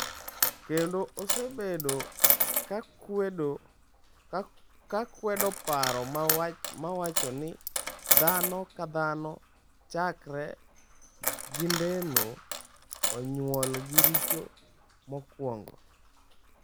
Kendo, osebedo ka kwedo paro ma wacho ni dhano ka dhano chakre kindeno onyuol gi richo mokwongo.